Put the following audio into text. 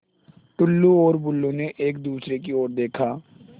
टुल्लु और बुल्लु ने एक दूसरे की ओर देखा